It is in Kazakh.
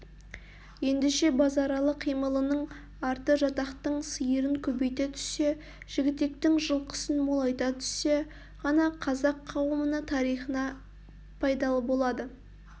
ендеше базаралы қимылының арты жатақтың сиырын көбейте түссе жігітектің жылқысын молайта түссе ғана қазақ қауымына тарихына пайдалы болады